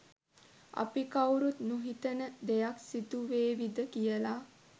අපි කවුරුත් නොහිතන දෙයක් සිදු වේවිද කියලා